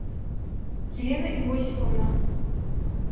елена иосифовна